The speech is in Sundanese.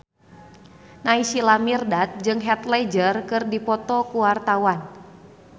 Naysila Mirdad jeung Heath Ledger keur dipoto ku wartawan